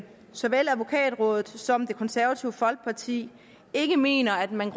såvel advokatrådet som det konservative folkeparti ikke mener at man